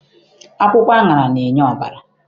Akwụkwọ aṅara na-enye ọbara.